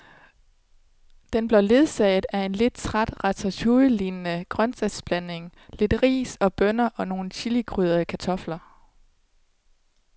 Den blev ledsaget af en lidt træt ratatouillelignende grøntsagsblanding, lidt ris og bønner og nogle chilikrydrede kartofler.